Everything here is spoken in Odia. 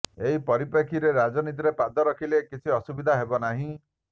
ଏହି ପରିପ୍ରେକ୍ଷୀରେ ରାଜନୀତିରେ ପାଦ ରଖିଲେ କିଛି ଅସୁବିଧା ହେବ ନାହିଁ